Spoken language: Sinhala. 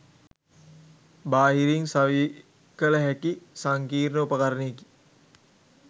බාහිරින් සවිකළ හැකි සංකීර්ණ උපකරණයකි